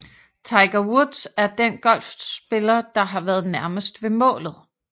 Tiger Woods er den golfspiller der har været nærmest ved målet